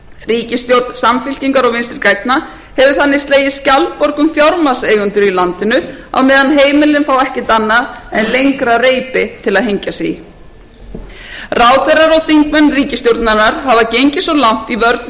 ríkisstjórn samfylkingar og vinstri grænna hefur þannig slegið skjaldborg um fjármagnseigendur í landinu á meðan heimilin fá ekkert annað en lengra reipi til að hengja sig í ráðherrar og þingmenn ríkisstjórnarinnar hafa gengið svo langt í vörnum